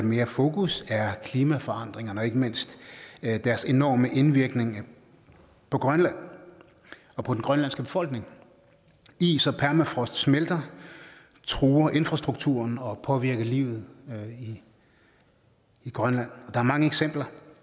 mere fokus er klimaforandringerne og ikke mindst deres enorme indvirkning på grønland og på den grønlandske befolkning is og permafrost smelter truer infrastrukturen og påvirker livet i grønland er mange eksempler